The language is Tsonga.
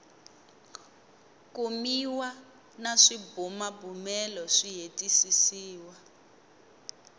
kumiwa na swibumabumelo swi hetisisiwa